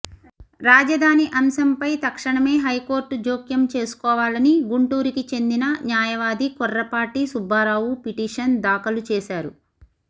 రాజధాని అంశంపై తక్షణమే హైకోర్ట్ జ్యోకం చేసుకోవాలని గుంటూరుకి చెందిన న్యాయవాది కొర్రపాటి సుబ్బారావు పిటిషన్ దాఖలు చేశారు